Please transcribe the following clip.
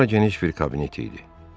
Bura geniş bir kabinet idi.